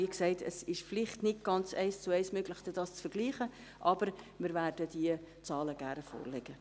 Wie gesagt, es ist vielleicht nicht ganz eins zu eins möglich, dies zu vergleichen, aber wir werden die Zahlen gerne vorlegen.